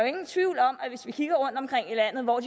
ingen tvivl om at hvis vi kigger rundtomkring i landet hvor